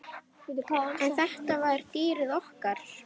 En þetta var dýrið okkar.